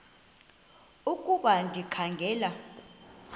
ukuba ndikha ngela